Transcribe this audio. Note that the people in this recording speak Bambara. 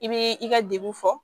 I bi i ka dekun fɔ